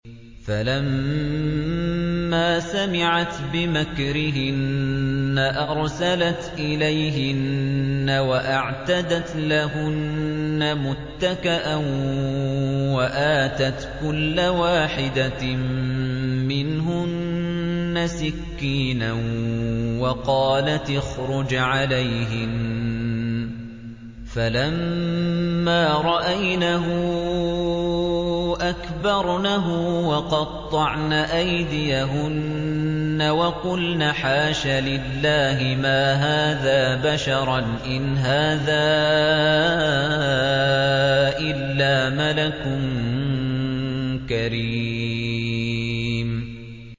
فَلَمَّا سَمِعَتْ بِمَكْرِهِنَّ أَرْسَلَتْ إِلَيْهِنَّ وَأَعْتَدَتْ لَهُنَّ مُتَّكَأً وَآتَتْ كُلَّ وَاحِدَةٍ مِّنْهُنَّ سِكِّينًا وَقَالَتِ اخْرُجْ عَلَيْهِنَّ ۖ فَلَمَّا رَأَيْنَهُ أَكْبَرْنَهُ وَقَطَّعْنَ أَيْدِيَهُنَّ وَقُلْنَ حَاشَ لِلَّهِ مَا هَٰذَا بَشَرًا إِنْ هَٰذَا إِلَّا مَلَكٌ كَرِيمٌ